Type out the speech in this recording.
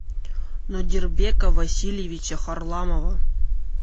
нодирбека васильевича харламова